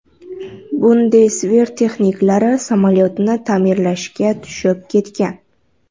Bundesver texniklari samolyotni ta’mirlashga tushib ketgan.